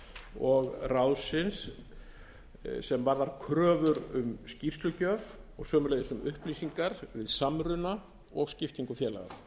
og ráðsins sem varðar kröfur um skýrslugjöf og sömuleiðis um upplýsingar samruna og skiptingu félaga